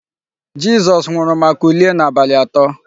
Jizọs nwụrụ ma kulie n'abalị atọ.